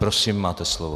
Prosím, máte slovo.